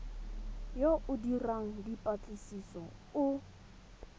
yo o dirang dipatlisiso o